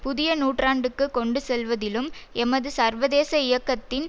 புதிய நூற்றாண்டுக்கு கொண்டு செல்வதிலும் எமது சர்வதேச இயக்கத்தின்